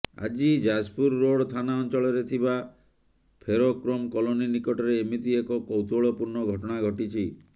ଆଜି ଯାଜପୁର ରୋଡ୍ ଥାନା ଅଂଚଳରେ ଥିବା ଫେରୋକ୍ରୋମ୍ କଲୋନୀ ନିକଟରେ ଏମିତି ଏକ କୌତୁହଳପୂର୍ଣ୍ଣ ଘଟଣା ଘଟିଛି